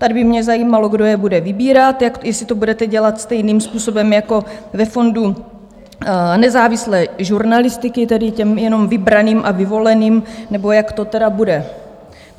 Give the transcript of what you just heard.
Tady by měl zajímalo, kdo je bude vybírat, jestli to budete dělat stejným způsobem jako ve fondu nezávislé žurnalistiky, tedy těm jenom vybraným a vyvoleným, nebo jak to teda bude.